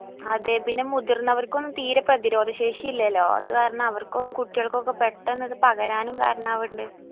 അതെ പിന്നെ മുതിർന്നവർക്കും തീരെ പ്രധിരോധ ശേഷി ഇല്ലല്ലോ അത് കാരണം അവർക്കും കുട്ടികൾക്കും ഒക്കെ ഇത് പെട്ടന്ന് പകരാനും കരണവിന്നിണ്ട്